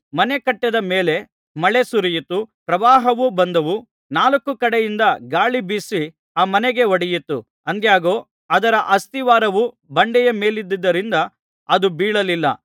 ಮನೆ ಕಟ್ಟಿದ ಮೇಲೆ ಮಳೆ ಸುರಿಯಿತು ಪ್ರವಾಹವು ಬಂದವು ನಾಲ್ಕು ಕಡೆಯಿಂದ ಗಾಳಿ ಬೀಸಿ ಆ ಮನೆಗೆ ಹೊಡೆಯಿತು ಆದಾಗ್ಯೂ ಅದರ ಅಸ್ತಿವಾರವು ಬಂಡೆಯ ಮೇಲಿದ್ದುದರಿಂದ ಅದು ಬೀಳಲಿಲ್ಲ